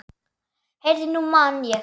Heyrðu, nú man ég.